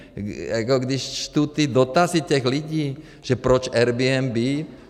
Jako když čtu ty dotazy těch lidí, že proč Airbnb.